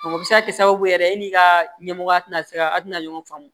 o bɛ se ka kɛ sababu yɛrɛ e n'i ka ɲɛmɔgɔ tɛna se ka a tɛna ɲɔgɔn faamu